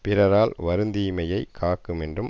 பிறரால் வருந்தீமையைக் காக்குமென்றும்